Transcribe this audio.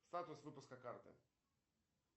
статус выпуска карты